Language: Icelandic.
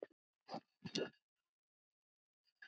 Af því varð aldrei.